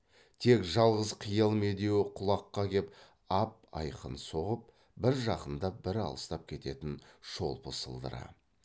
тек жалғыз қиял медеуі құлаққа кеп ап айқын соғып бір жақындап бір алыстап кететін шолпы сылдыры